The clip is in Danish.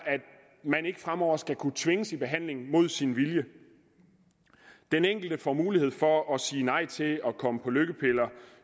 at man ikke fremover skal kunne tvinges i behandling mod sin vilje den enkelte får mulighed for at sige nej til at komme på lykkepiller